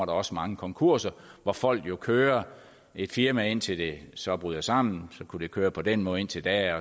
også mange konkurser hvor folk jo kører et firma indtil det så bryder sammen så kunne det køre på den måde indtil da